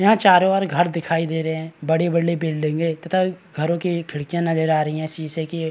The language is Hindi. यहाँ चारो ओर घर दिखाई दे रहे है बड़ी-बड़ी बिल्डिंगे तथा घरो की खिड़कियाँ नजर आ रही है शीशे की।